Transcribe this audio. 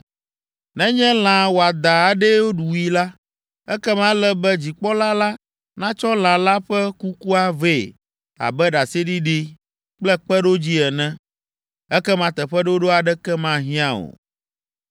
Nenye lã wɔadã aɖee wui la, ekema ele be dzikpɔla la natsɔ lã la ƒe kukua vɛ abe ɖaseɖiɖi kple kpeɖodzi ene. Ekema teƒeɖoɖo aɖeke mahiã o.